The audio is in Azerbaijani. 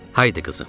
Haydı qızım!